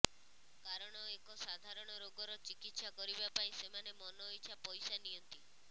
କାରଣ ଏକ ସାଧାରଣ ରୋଗର ଚିକିତ୍ସା କରିବା ପାଇଁ ସେମାନେ ମନଇଚ୍ଛା ପଇସା ନିଅନ୍ତି